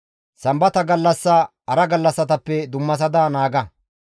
«Sambata gallassa hara gallassatappe dummasada naaga.